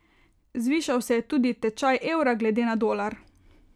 Zvišal se je tudi tečaj evra glede na dolar.